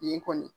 Nin kɔni